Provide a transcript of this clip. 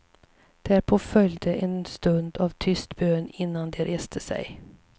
Därpå följde en stund av tyst bön innan de reste sig.